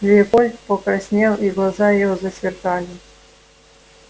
леопольд покраснел и глаза его засверкали